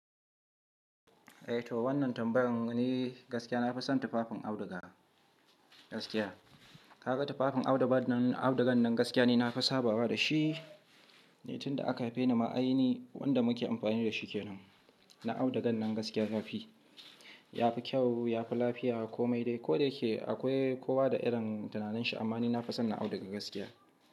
Eh to wannan tambayar ni gaskiya. Na fi son tufafin auduga gaskiya. Ka ga tufafin audugan nan gaskiya ne, na fi sabawa da shi. Ni tun da aka haifeni ma ai ni wanda muke amfani da shi kenan. Na audugan nan gaskiya yafi, yafi kyau, yafi lafiya ko mai dai. Ko dayake akwai kowa da irin tunaninsa amma ni na fi son na auduga gaskiya.